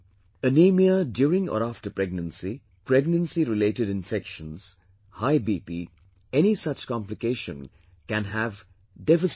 Anemia during or after pregnancy, pregnancy related infections, high BP, any such complication can have devastating effect